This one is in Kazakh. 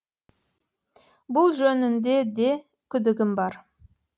бұл жөнінде де күдігім бар